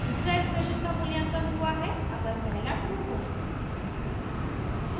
दूसरा एक्सप्रेशन का मूल्यांकन हुआ है अगर पहला ट्रू हो